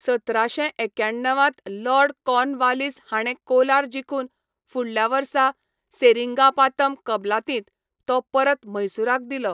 सतराशें एक्याण्णव त लॉर्ड कॉर्नवालिस हाणें कोलार जिखून फुडल्या वर्सा सेरिंगापातम कबलातींत तो परत म्हैसूराक दिलो.